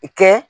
Kɛ